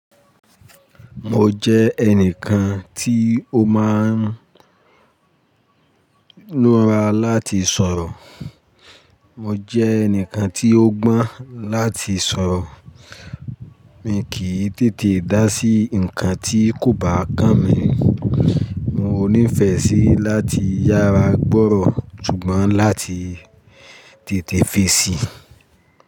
Mo jẹ ẹnìkan tí ó máa ń lọ́ra láti sọ̀rọ̀. Mo jẹ ẹnìkan tí ó gbọ́n láti sọ̀rọ̀. Mi kì í tètè dá sí nǹkan tí kò bá kán mi. Mo ní'fẹ́ síi láti yára gbọ́rọ̀, ṣùgbọ́n láti tètè fèsì.